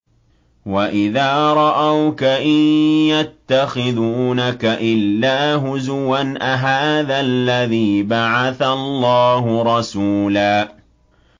وَإِذَا رَأَوْكَ إِن يَتَّخِذُونَكَ إِلَّا هُزُوًا أَهَٰذَا الَّذِي بَعَثَ اللَّهُ رَسُولًا